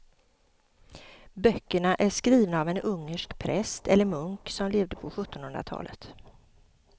Böckerna är skrivna av en ungersk präst eller munk som levde på sjuttonhundratalet.